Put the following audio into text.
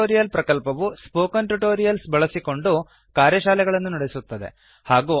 spoken tutorial ಪ್ರಕಲ್ಪವು spoken tutorials ಬಳಸಿಕೊಂಡು ಕಾರ್ಯಶಾಲೆಗಳನ್ನು ನಡೆಸುತ್ತದೆ